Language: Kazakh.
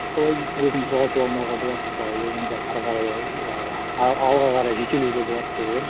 солай деп өзін жоғалтып алмауға болады солай өзіңді әрі қарай і алға қарай жетелеуге болады деп ойлаймын